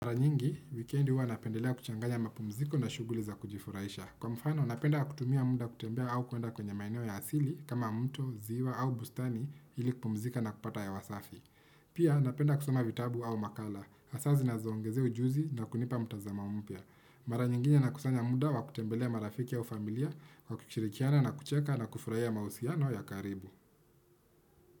Mara nyingi, weekend huwa napendelea kuchanganya mapumziko na shughuli za kujifurahisha. Kwa mfano, napenda kutumia muda kutembea au kuenda kwenye maeneo ya asili kama mto, ziwa au bustani ili kupumzika na kupata hewa safi. Pia, napenda kusoma vitabu au makala, hasa zinazoongezea ujuzi na kunipa mtazamo mpya. Mara nyingine nakusanya muda wa kutembelea marafiki au familia, wa kushirikiana na kucheka na kufurahiya mahusiano ya karibu.